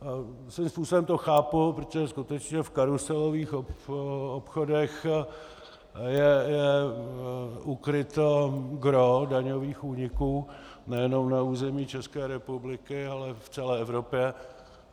Svým způsobem to chápu, protože skutečně v karuselových obchodech je ukryto gros daňových úniků nejenom na území České republiky, ale v celé Evropě.